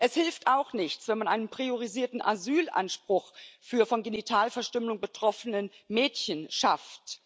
Es hilft auch nichts, wenn man einen priorisierten Asylanspruch für von Genitalverstümmelung betroffene Mädchen schafft.